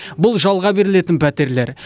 бұл жалға берілетін пәтерлер